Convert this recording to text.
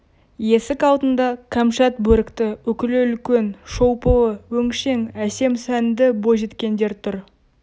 есік алдында кәмшат бөрікті үкілі үлкен шолпылы өңшең әсем сәнді бойжеткендер тұр